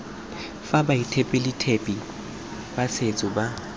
fa baeteledipele ba setso ba